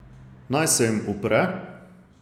Naj se jim upre?